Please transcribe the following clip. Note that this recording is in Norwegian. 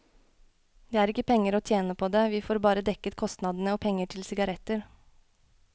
Det er ikke penger å tjene på det, vi får bare dekket kostnadene og penger til sigaretter.